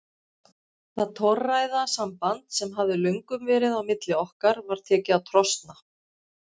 Það torræða samband sem hafði löngum verið á milli okkar var tekið að trosna.